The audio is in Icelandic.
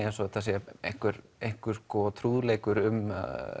eins og þetta sé einhver einhver trúðaleikur um